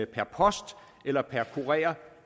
per post eller per kurer